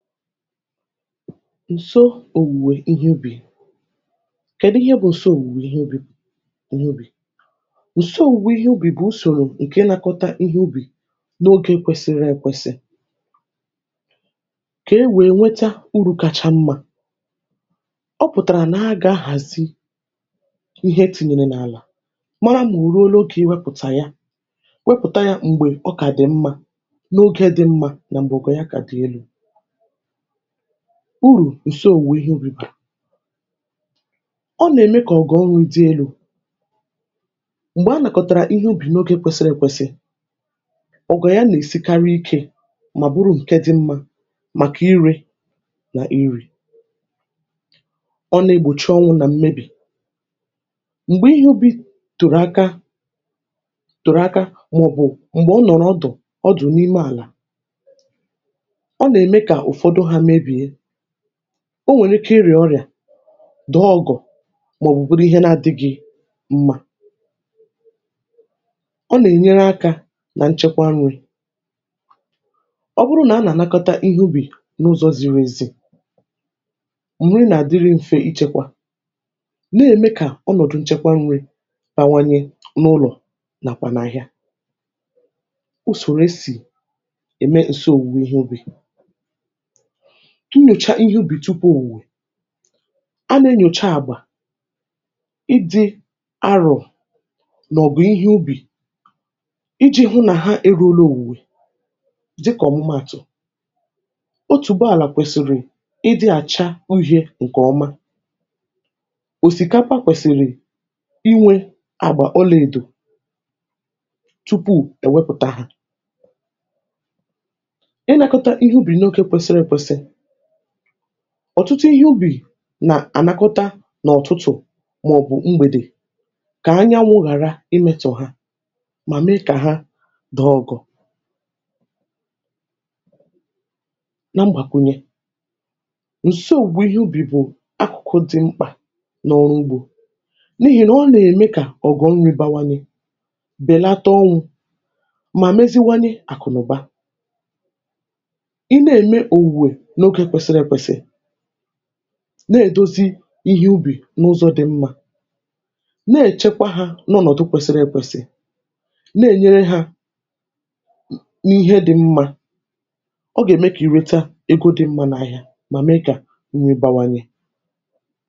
Ǹsò Òwùwè Ihe Ubì— kèdù ihe bụ̀ ǹsò òwùwè ihe ubì? Ǹsò òwùwè ihe ubì bụ̀ usòrò ǹke nakọta ihe ubì n’ogė kwesịrị ekwesị, um kè e wèe nweta uru̇ kacha mmȧ. Ọ pụ̀tàrà nà hà agà hà hàzì ihe, tìnyìnààlà mara nà ò ruola ogė, wèe wepụ̀tà yà, um wèe wepụ̀ta yà m̀gbè ọ kà dị̀ mmȧ. N’ogė dị̇ mmȧ, nà m̀bè ọ gà dị̀ elu̇ uru. Ǹsò òwùwè ihe ubì bàrà ọ nà-ème kà ọ gà ọ nwụ̀ ndị elu̇, um m̀gbè a nàkọ̀tàrà ihe ubì n’ogė kwesiri èkwesi. Ọ gà-àgụ̀ yà nà-èsikarị ikė, mà bụrụ ǹke dị mmȧ màkà irė nà iri̇. Ọ na-egbòchi ọnwụ̇ nà mmebì, m̀gbè ihe ubì tụ̀rụ̀ aka tụ̀rụ̀ aka, mà ọ̀ bụ̀ m̀gbè ọ nọ̀rọ̀ ọdụ̀ ọdụ̀ n’ime àlà. um Ọ nwèrè ike irė ọrịa, dọ̀ ọgụ̀, mà ọ̀bụ̀bụ̀rụ ihe na-adị gị̇ mmȧ. Ọ nà-ènyere akȧ nà nchekwa nri̇, ọ bụrụ nà a nà-ànakọta ihe ubì n’ụzọ̇ ziri èzè. um M̀rị nà-àdịri mfe ichėkwȧ, na-ème kà ọnọ̀dụ̀ nchekwa nri̇ bawanye n’ụlọ̀. Nàkwànaghị̇ a, o sòre si ème ǹse òwùwè ihe ubì. um Unyòcha ihe ubì tupu òwùwè, a nà-enyòcha àgbà, ịdị arọ̀, n’ọ̀gụ̀ ihe ubì, iji̇ hụ nà hà erȯlȧ òwùwè. Dịkà ọ̀mụmaàtụ̀, o tùbe àlà kwèsìrì ịdị̇ àcha uhi̇ė ǹkè ọma, um òsìkakwa kwèsìrì inwė àgbà ọla èdò tupu èwepụ̀ta hà. Ọ̀tụtụ ihe ubì nà ànakọta n’ọ̀tụtụ̀ màọ̀bụ̀ mgbèdè, kà anyanwụ̇ ghàra imėtụ̇ hà, mà mee kà hà dị́ ọgụ̀. Na mgbàkwùnye, ǹsogbù ihe ubì bụ̀ akụ̀kụ dị̇ mkpà n’ọrụ ugbȯ, um n’ihì nà ọ nà-ème kà ọ̀gọ̀ nri̇ bawanị, bèlata ọnwụ̇, mà meziwanị àkụ̀nụ̀ba. Ọ nà-èdozi ihe ubì n’ụzọ̇ dị̀ mmȧ, um na-èchekwa hà n’ụnọ̀dụ kwesịrị ekwesị́, na-ènyere hà n’ihe dị̀ mmȧ. Ọ gà-ème kà ì rèta ego dị̇ mmȧ n’ahịa, mà mee kà nri bawanye.